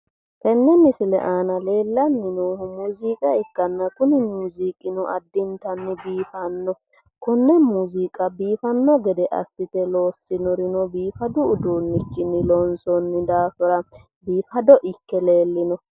tenne misile aana leellanni noohu muziiqa ikkanna addintanni biifanno konne muziiqa biifanno assite loossinorino biifanno udiinnichinni loonsoonni daafira biifado ikke leellino.